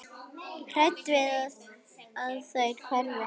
Hrædd við að þær hverfi.